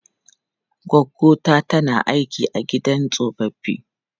Goggo ta tana aiki a gidan tsofaffi.